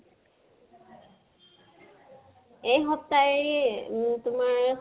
এই সপ্তাই উম তোমাৰ